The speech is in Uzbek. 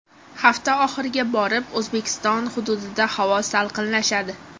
Hafta oxiriga borib O‘zbekiston hududida havo salqinlashadi.